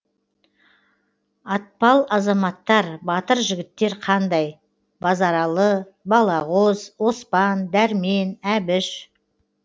атпал азаматтар батыр жігіттер қандай базаралы балағоз оспан дәрмен әбіш